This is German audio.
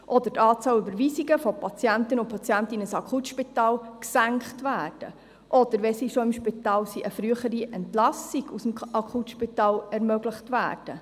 Oder die Zahl der Überweisungen von Patientinnen und Patienten in ein Akutspital soll gesenkt oder, wenn diese schon im Spital sind, eine frühere Entlassung aus dem Akutspital ermöglicht werden.